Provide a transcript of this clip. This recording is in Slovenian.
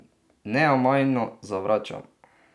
Neomajno zavračam.